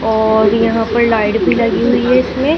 और यहां पर लाइट भी लगी हुई है इसमें--